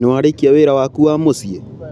Nĩ warĩkia wĩra waku wa mũciĩ?